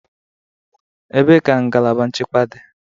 Ebee ka ngalaba nchekwa dị?